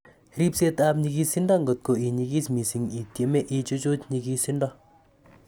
Ripseet ap nyikisindo ngot ko inyikis missing, itieme ichuchuch nyikisindo